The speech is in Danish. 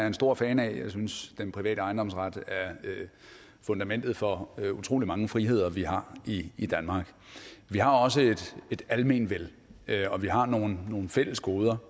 en stor fan af jeg synes den private ejendomsret er fundamentet for utrolig mange friheder vi har i danmark vi har også et almenvel og vi har nogle nogle fælles goder